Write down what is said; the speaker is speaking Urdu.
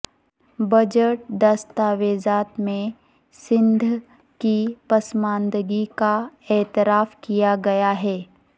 بجٹ دستاویزات میں سندھ کی پسماندگی کا اعتراف کیا گیا ہے